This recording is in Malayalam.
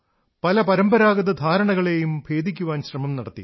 പല പരമ്പരാഗത ധാരണകളെയും ഭേദിക്കുവാൻ ശ്രമം നടത്തി